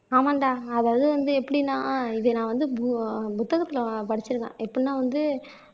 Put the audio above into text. ஆமாண்டா அதாவது வந்து எப்படின்னா இது நான் வந்து பு புத்தகத்துல படிச்சிருக்கேன் எப்படின்னா வந்து